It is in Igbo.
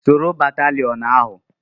Soro batalịon ahụ!